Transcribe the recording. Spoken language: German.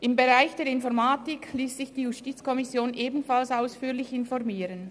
Im Informatikbereich liess sich die JuKo ebenfalls ausführlich informieren.